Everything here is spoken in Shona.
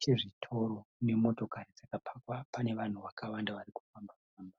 chezvitoro nemotokari dzakapakwa. Pane vanhu vakawanda vari kufamba famba.